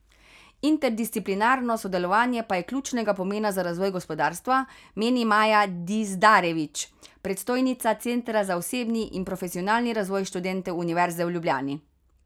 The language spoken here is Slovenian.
Interdisciplinarno sodelovanje pa je ključnega pomena za razvoj gospodarstva, meni Maja Dizdarević, predstojnica centra za osebni in profesionalni razvoj študentov Univerze v Ljubljani.